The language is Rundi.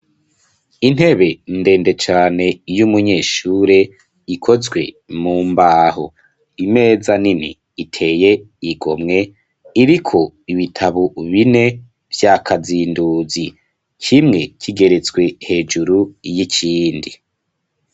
Intebe ndende cane yo umunyeshure ikozwe mu mbaho, imeza nini iteye igo mwe iriko ibitabo bine vy'akazinduzi cimwe kigereswe hejuru y'ikindi.